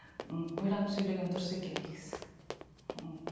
ммм ойланып сөйлеген дұрыс екен негізі ммм